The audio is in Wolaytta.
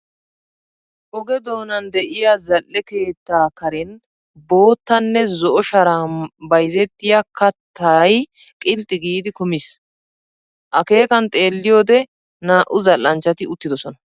Oge doonan de'iya zal"e keettaa karen bootta nne zo'o sharaa bayzettiya kattay qilxxi giidi kumiis. Akeekan xeelliyoode naa"u zal"anchchati uttidosona.